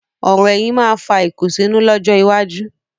Ọ̀rò ẹ̀yìn máa fà ìkùnsínú lọ́jọ́ iwájú.